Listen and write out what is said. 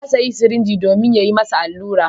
Ya sayo sirinji domin a yi masa allura.